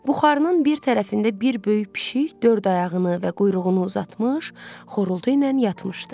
Buxarının bir tərəfində bir böyük pişik dörd ayağını və quyruğunu uzatmış, xorultu ilə yatmışdı.